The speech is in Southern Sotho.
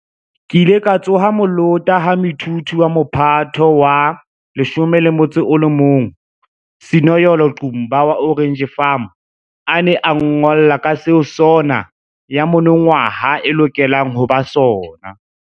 Ke ile ka tsoha molota ha moithuti wa Mophato wa 11 Sinoyolo Qumba wa Orange Farm a ne a nngolla ka seo SoNA ya monongwaha e lokelang ho ba sona.